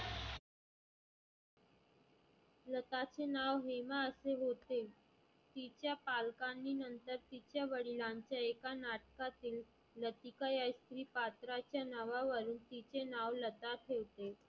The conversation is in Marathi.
लताचे नाव हेमा असे होते. तीच्या पालकांनी नंतर तीच्या वडिलांच्या एका नाटकातील लतीका या स्त्री पात्राच्या नावा वानी तीचे नाव लता ठेवले.